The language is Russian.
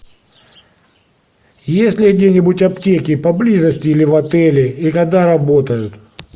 есть ли где нибудь аптеки поблизости или в отеле и когда работают